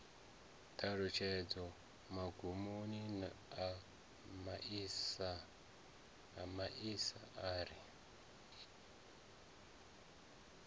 ṱhalutshedzo magumoni a masia ari